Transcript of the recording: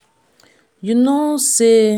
you no say i be be beta tailor do me well.